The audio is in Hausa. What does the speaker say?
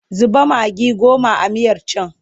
Zuba magi goma a miyar can!